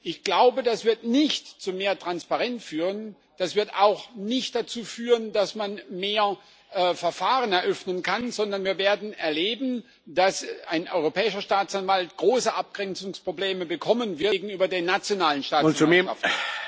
Ich glaube, das wird nicht zu mehr Transparenz führen, das wird auch nicht dazu führen, dass man mehr Verfahren eröffnen kann, sondern wir werden erleben, dass ein europäischer Staatsanwalt große Abgrenzungsprobleme gegenüber den nationalen Staatsanwaltschaften bekommen wird.